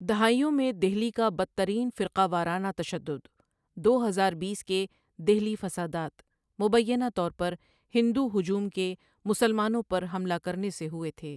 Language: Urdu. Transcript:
دہائیوں میں دہلی کا بدترین فرقہ وارانہ تشدد، دو ہزار بیس کے دہلی فسادات، بنیادی طور پر ہندو ہجوم کے مسلمانوں پر حملہ کرنے سے ہوئے تھے۔